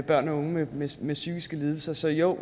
børn og unge med psykiske lidelser så jo